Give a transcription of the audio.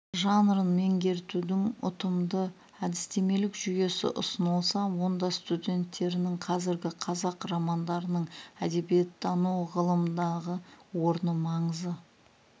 жанрын меңгертудің ұтымды әдістемелік жүйесі ұсынылса онда студенттерінің қазіргі қазақ романдарының әдебиеттану ғылымындағы орны маңызы